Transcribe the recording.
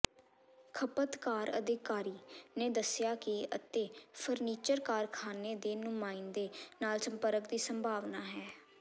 ਖਪਤਕਾਰ ਅਧਿਕਾਰੀ ਨੇ ਦੱਸਿਆ ਕਿ ਅਤੇ ਫਰਨੀਚਰ ਕਾਰਖਾਨੇ ਦੇ ਨੁਮਾਇੰਦੇ ਨਾਲ ਸੰਪਰਕ ਦੀ ਸੰਭਾਵਨਾ ਹੈ